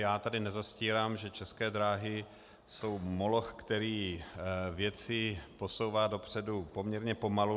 Já tady nezastírám, že České dráhy jsou moloch, který věci posouvá dopředu poměrně pomalu.